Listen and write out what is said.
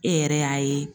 E yɛrɛ y'a ye